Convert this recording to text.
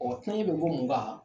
Ɔ kunaɲɛ be bɔ mun kan